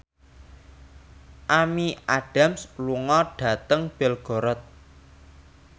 Amy Adams lunga dhateng Belgorod